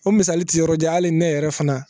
O misali tɛ yɔrɔ jan hali ne yɛrɛ fana